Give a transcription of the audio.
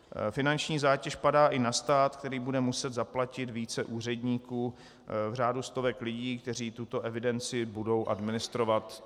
Finanční zátěž padá i na stát, který bude muset zaplatit více úředníků v řádu stovek lidí, kteří tuto evidenci budou administrovat.